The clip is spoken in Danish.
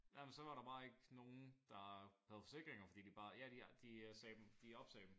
Jamen så var der bare ikke nogen der havde forsikringer fordi de bare ja de de sagde dem de opsagde dem